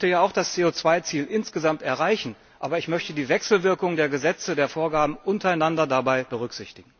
Ich möchte ja auch das CO Ziel insgesamt erreichen, aber ich möchte die Wechselwirkung der Gesetze untereinander dabei berücksichtigen.